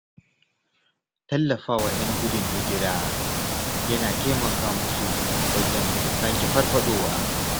Tallafawa ‘yan gudun hijira yana taimaka musu wajen sake farfaɗowa.